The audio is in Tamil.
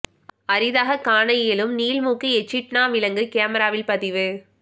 அரிதாக காண இயலும் நீள் மூக்கு எச்சிட்னா விலங்கு கேமராவில் பதிவு